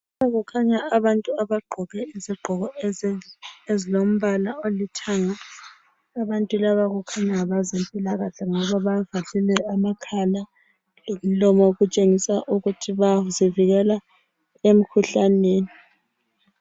Lapha kukhanya abantu abagqoke izigqoko ezilombala olithanga. Abantu laba kukhanya ngabezempilakahle ngoba bavalile amakhala lemlomo okutshengisa ukuthi bayazivikela emkhuhlaneni